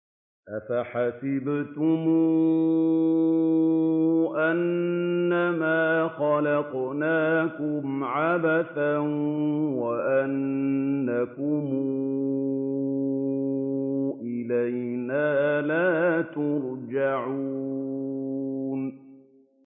أَفَحَسِبْتُمْ أَنَّمَا خَلَقْنَاكُمْ عَبَثًا وَأَنَّكُمْ إِلَيْنَا لَا تُرْجَعُونَ